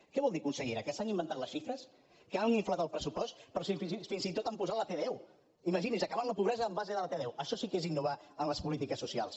què vol dir consellera que s’han inventat les xifres que han inflat el pressupost però si fins i tot hi han posat la tdeu imagini’s acabar amb la pobresa en base a la tdeu això sí que és innovar en les polítiques socials